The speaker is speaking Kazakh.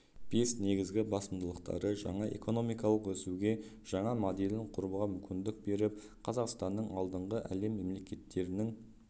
бес негізгі басымдықтары жаңа экономикалық өсуге жаңа моделін құруға мүмкіндік беріп қазақстанның алдынғы әлем мемлекеттерінің